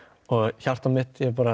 hjartað mitt ég